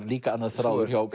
líka annar þráður hjá